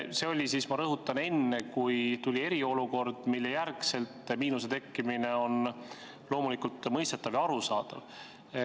See oli – ma rõhutan –enne, kui tuli eriolukord, mille järel miinuse tekkimine on loomulikult mõistetav ja arusaadav.